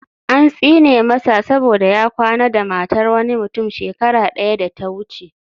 An tsine masa saboda ya kwana da matar wani mutum shekara daya da ta wuce